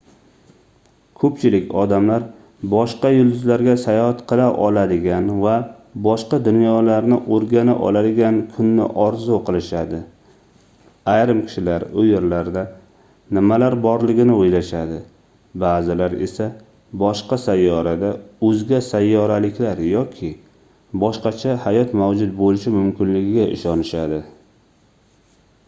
koʻpchilik odamlar boshqa yulduzlarga sayohat qila oladigan va boshqa dunyolarni oʻrgana oladigan kunni orzu qilishadi ayrim kishilar u yerlarda nimalar borligini oʻylashadi baʼzilar esa boshqa sayyorada oʻzga sayyoraliklar yoki boshqacha hayot mavjud boʻlishi mumkinligiga ishonishadi